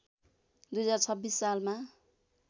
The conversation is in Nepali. २०२६ सालमा